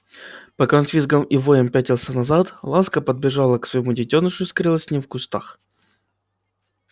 пока он с визгом и воем пятился назад ласка подбежала к своему детёнышу и скрылась с ним в кустах